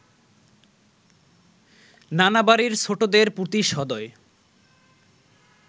নানা বাড়ির ছোটদের প্রতি সদয়